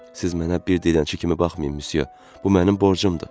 Siz mənə bir dilənçi kimi baxmayın, müsyo, bu mənim borcumdur.